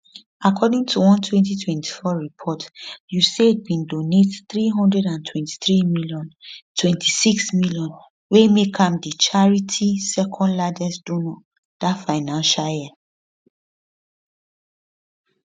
according to one 2024 report usaid bin donate 323m 26m wey make am di charity secondlargest donor dat financial year